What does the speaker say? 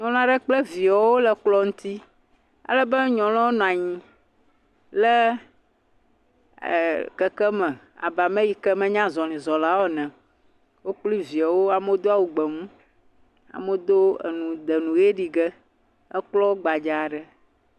Nyɔnu ale kple viawo wole kplɔ aɖe ŋuti alebe nyɔnua nɔ anyi le ee..keke aɖe me abe ame ale yi ke menya azɔlɛ̃zɔla o ene, wokpli viawo amewo do awu gbe mu, amewo do nu wode nu ʋe ɖi ge. Ekplɔ gbadza aɖe.